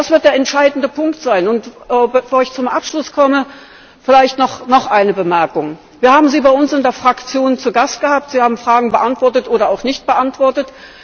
Das wird der entscheidende Punkt sein. Bevor ich zum Abschluss komme, vielleicht noch eine Bemerkung Wir haben Sie bei uns in der Fraktion zu Gast gehabt. Sie haben Fragen beantwortet oder auch nicht beantwortet.